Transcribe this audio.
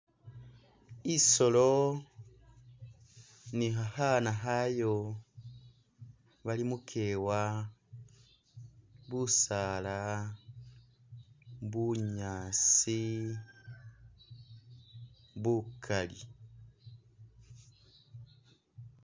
Isolo ni khakhana akhayo bili mukewa, busaala, bunyaasi bukaali.